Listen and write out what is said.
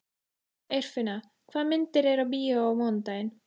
Eirfinna, hvaða myndir eru í bíó á mánudaginn?